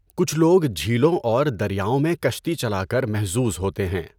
کچھ لوگ جھیلوں اور دریاؤں میں کشتی چلا کر محظوظ ہوتے ہیں۔